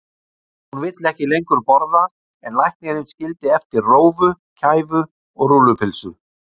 Hún vill ekki lengur borða en læknirinn skildi eftir rófu, kæfu og rúllupylsu.